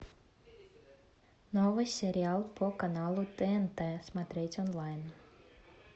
новый сериал по каналу тнт смотреть онлайн